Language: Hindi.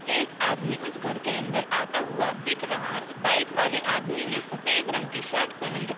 एक आदमी उस घर के अंदर आता हुआ दिख रहा है। बाइक वाले आदमी ने सफ़ेद रंग की शर्ट पहन रख --